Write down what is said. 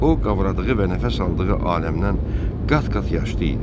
O, ovradığı və nəfəs aldığı aləmdən qat-qat yaşlı idi.